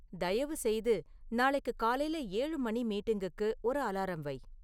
தயவுசெய்து நாளைக்கு காலையில ஏழு மணி மீட்டிங்குக்கு ஒரு அலாரம் வை